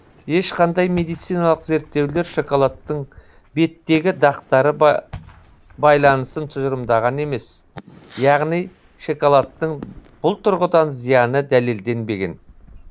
ешқандай медициналық зерттеулер шоколадтың беттегі дақтары байланысын тұжырымдаған емес яғни шоколадтың бұл тұрғыдан зияны дәлелденбеген